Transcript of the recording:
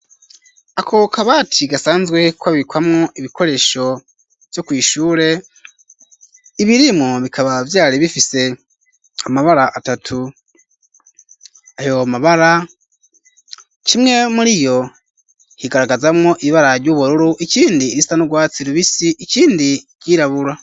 Ako kabati gasanzwe kabikwamwo ibikoresho vyo kwishure ibirimwo bikaba vyari bifise amabara atatu ayo mabara kimwe muriyo higaragazamwo ibibara ry'ubururu ikindi irisa n' rwatsi rubisi ikindi iryirabura.